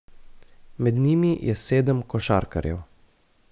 Med njimi je sedem košarkarjev.